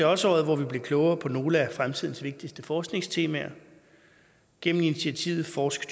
også året hvor vi blev klogere på nogle af fremtidens vigtigste forskningstemaer gennem initiativet forsk